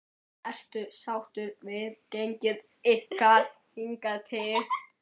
Ertu sáttur við gengi ykkar hingað til?